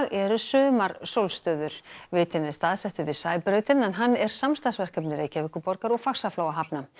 eru sumarsólstöður vitinn er staðsettur við Sæbrautina en hann er samstarfsverkefni Reykjavíkurborgar og Faxaflóahafna